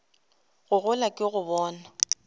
go gola ke go bona